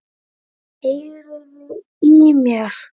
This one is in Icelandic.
Heyriði í mér?